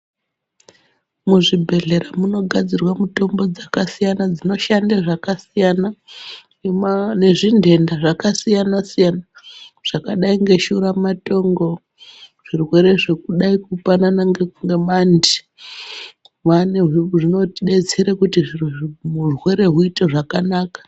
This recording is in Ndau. Muzvibhedhlera munogadzirwe mitombo dzakasiyana siyana dzinoshande zvakasiyana nedzingenda zvakasiyana siyana zvakadai ngeshura matongo zvirwere zvekudai kupanana ngemanthi zvinodetsere kuti urwere zviite zvakanaka.